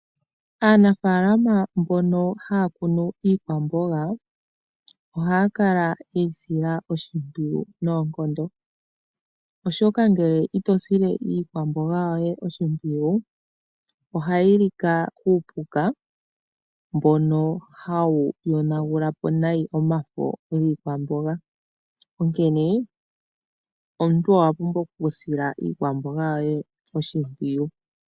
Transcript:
Aanafalama mbono hayakunu iikwamboga, ohayakala yeyisila oshimpwiyu noonkondo. Oshoka ngele itosile iikwamboga yoye oshimpwiyu, ohayi lika kuupuka mbono hawu yonagulapo nayi omafo giikwamboga. Onkene omuntu owapumbwa okusila iikwamboga yoye oshimpwiyu.